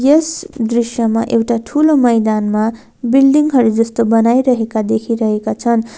यस दृश्यमा एउटा ठूलो मैदानमा बिल्डिङ हरू जस्तो बनाइरहेका देखिरहेका छन्।